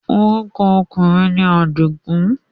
Orúkọ ọkùnrin ni Àdìgùn.